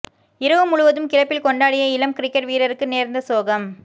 இரவு முழுவதும் கிளப்பில் கொண்டாடிய இளம் கிரிக்கெட் வீரருக்கு நேர்ந்த சோகம்